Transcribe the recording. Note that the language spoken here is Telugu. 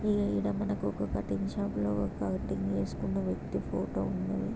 ఇగ ఈయన మనకి ఒక కటింగ్ షాప్ లో ఒక కటింగ్ చేస్కున్న వ్యక్తి ఫోటో ఉన్నది.